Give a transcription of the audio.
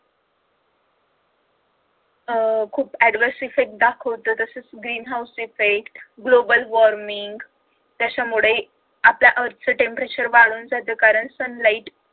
अह adverse effect दाखवत. green house effect, global warning त्याच्यामुळे आपल्या earth चे temperature वाढून त्याच साचुकारण sunlight